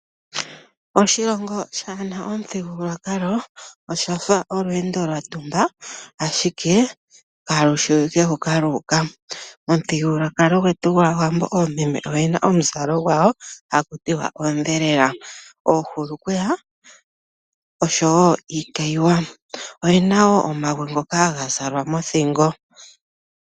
Oshilongo kashina omuthigululwakalo oshafa olweendo lwayumbwa aahike kalushiwike hoka lu uka. Momuthigululwakalo gwetu gwaawambo oomeme oyena omuzalo gwano hakutiwa oondhelela, oohulukweya oshowo iikayiwa oyena woo omagwe ngoka haza zalwa mothingo